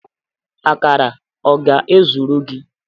Akara a ọ ga-ezuru gị?